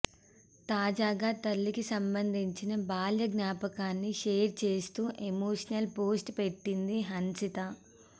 తాజాగా తల్లికి సంబంధించిన బాల్య జ్ఞాపకాన్ని షేర్ చేస్తూ ఎమోషనల్ పోస్ట్ పెట్టింది హన్షిత